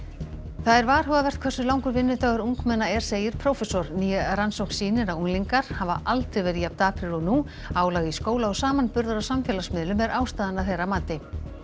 það er varhugavert hversu langur vinnudagur ungmenna er segir prófessor ný rannsókn sýnir að unglingar hafa aldrei verið jafn daprir og nú álag í skóla og samanburður á samfélagsmiðlum er ástæðan að þeirra mati